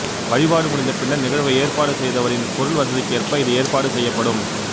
வழிபாடு முடிந்த பின்னர் நிகழ்வை ஏற்பாடு செய்தவரின் பொருள்வசதிக்கேற்ப இது ஏற்பாடு செய்யப்படும்